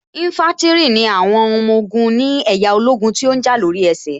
Ínfántìrì ni àwọn ọmọ ogun ni ẹ̀yà ológun tó ǹ jà lóri ẹsẹ̀